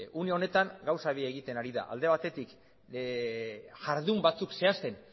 une honetan gauza bi egiten ari da alde batetik jardun batzuk zehazten